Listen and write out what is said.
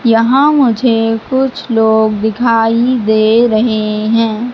यहां मुझे कुछ लोग दिखाई दे रहे हैं।